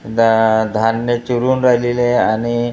दा धान्य चिरून राहिलेले आहे आणि --